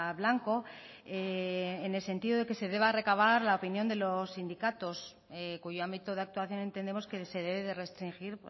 blanco en el sentido de que se deba recabar la opinión de los sindicatos cuyo ámbito de actuación entendemos que se debe de restringir